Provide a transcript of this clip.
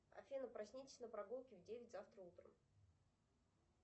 афина проснитесь на прогулке в девять завтра утром